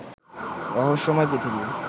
রহস্যময় পৃথিবী